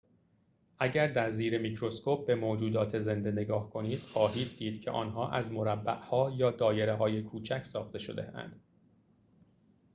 اگر در زیر میکروسکوپ به موجودات زنده نگاه کنید خواهید دید که آنها از مربع‌ها یا دایره‌های کوچک ساخته شده‌اند